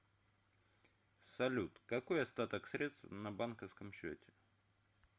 салют какой остаток средств на банковском счете